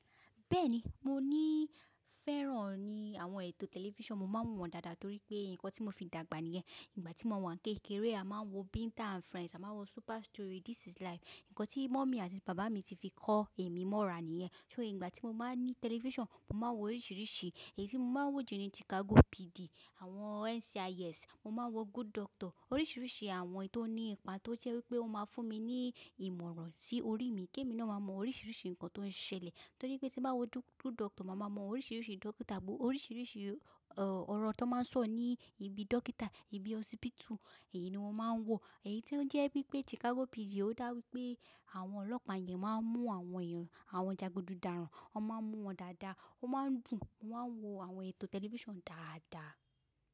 Bẹ́ẹ̀ni, mo ní fẹ́ràn ní àwọn ètò tẹlifíṣàn. Mo máa ń wọ̀n dáadáa torí pé nǹkan tí mo fi dàgbà níyẹn. Ìgbà tí mo wà ní kékeré a máa ń wo Binta and Friends, a máa ń wo Super Story, This Is Life. Ǹkan tí mummy àti bàbá mi ti fi kọ́ èmi mọ́ra níyẹn. So ìgbà tí mo bá ní tẹlifíṣàn, mo máa ń wo oríṣìíríṣìí. Èyí ni mo máa ń wò jù ni Chicago PD, àwọn NCIS, mo máa ń wo Good Doctor. Oríṣìíríṣìí àwọn tò ní ipa tó jẹ́ wípé ó máa fún mi ní ìmọ̀ràn sí orí mi kí èmi náà máa mọ oríṣìíríṣìí ǹkan tó ń ṣẹlẹ̀. Torí pé tí bá wò Good Doctor, màá mọ oríṣìíríṣìí dókítà bo, oríṣìíríṣìí ọ̀rọ̀ tó máa ń sọ ní ibi dókítà, ibi hospital. Èyí ni mo máa ń wò. Èyí tó jẹ́ wípé Chicago PD ó dáwípé àwọn ọlọ́pàá yẹn máa ń mú àwọn èèyàn àwọn jagudu dàràn. Wọ́n máa ń mú wọn dáadáa. O máa ń dùn. Mo máa ń wo àwọn ètò tẹlifíṣàn dáadáa.